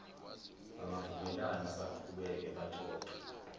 bangavumelana baqhubeke baxoxe